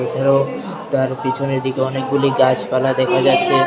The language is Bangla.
এছাড়াও তার পিছনের দিকে অনেকগুলি গাছপালা দেখা যাচ্ছে।